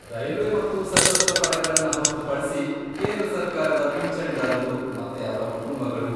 Railway ಮತ್ತು ಸಶಸ್ತ್ರ ಪಡೆಗಳನ್ನ ಹೊರ್ತುಪಡ್ಸಿ, ಕೇಂದ್ರ ಸರ್ಕಾರದ ಪಿಂಚಣಿದಾರರು ಮತ್ತೆ ಅವ್ರ ಕುಟುಂಬಗಳು.